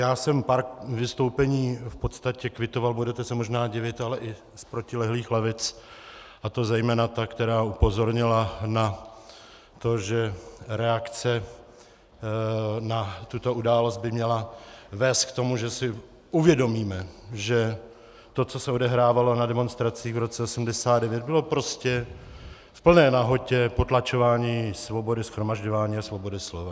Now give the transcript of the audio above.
Já jsem pár vystoupení v podstatě kvitoval, budete se možná divit, ale i z protilehlých lavic, a to zejména ta, která upozornila na to, že reakce na tuto událost by měla vést k tomu, že si uvědomíme, že to, co se odehrávalo na demonstracích v roce 1989, bylo prostě v plné nahotě potlačování svobody shromažďování a svobody slova.